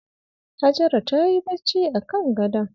Hajara tayi bacci a kan gadon.